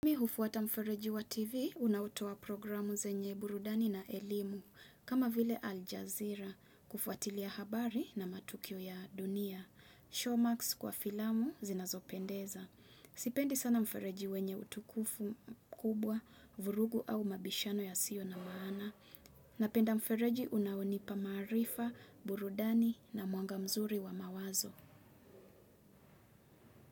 Mi hufuata mfereji wa TV, unautoa programu zenye burudani na elimu, kama vile Al Jazeera, kufuatilia habari na matukio ya dunia. Showmax kwa filamu zinazopendeza. Sipendi sana mfereji wenye utukufu mkubwa, vurugu au mabishano yasiyo na maana. Napenda mfereji unaonipa maarifa, burudani na mwanga mzuri wa mawazo.